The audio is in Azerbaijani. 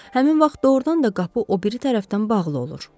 Həmin vaxt doğrudan da qapı o biri tərəfdən bağlı olur.